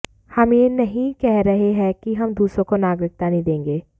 हम यह नहीं कह रहे हैं कि हम दूसरों को नागरिकता नहीं देंगे